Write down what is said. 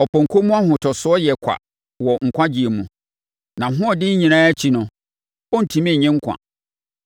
Ɔpɔnkɔ mu ahotosoɔ yɛ kwa wɔ nkwagyeɛ mu; nʼahoɔden nyinaa akyi no, ɔrentumi nnye nkwa.